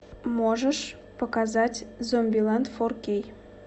можешь показать зомбилэнд фор кей